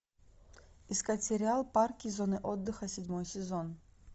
искать сериал парки и зоны отдыха седьмой сезон